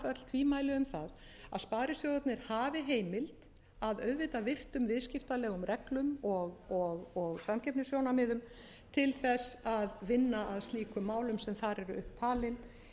tvímæli um það að sparisjóðirnir hafi heimild að auðvitað virtum viðskiptalegum reglum og samkeppnissjónarmiðum til þess að vinna að slíkum málum sem þar eru upp talin